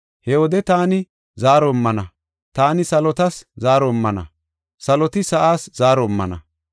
“He wode taani zaaro immana; taani salotas zaaro immana, saloti sa7aas zaaro immana.